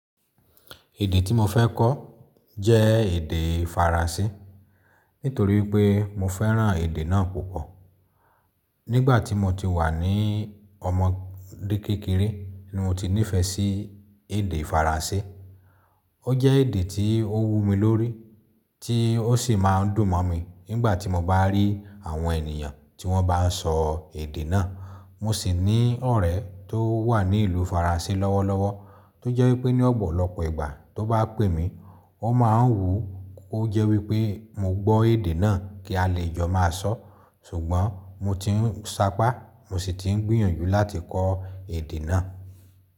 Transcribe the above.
Èdè tí mo fẹ́ kọ jẹ́ èdè Faransé nítorí pé mo fẹ́ràn èdè náà púpọ̀. Nígbà tí mo ti wà ní ọmọdé kékeré ni mo ti nífẹẹ sí èdè Faransé. Ó jẹ́ èdè tí ó wù mí lórí tí ó sì máa ń dùn mọ̀ mí nígbà tí mo bá rí àwọn ènìyàn tí wọ́n bá n sọ èdè náà. Mo sì ní ọ̀rẹ́ tó wà ní ìlú Faransé lọ́wọ́lọ́wọ́ tó jẹ́ wípé ní ọ̀pọ̀lọpọ̀ ìgbà tó bá pè mí, ó máa ń wùn ó jẹ́ wípé mo gbọ́ èdè náà kí a lè jọ máa sọ̀. Ṣùgbọ́n mo ti ń sapá, mo sì ti ń gbìyànjú láti kọ èdè náà.